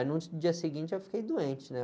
Aí no dia seguinte eu fiquei doente, né?